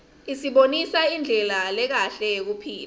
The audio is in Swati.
isibonisa indlela lekahle yekuphila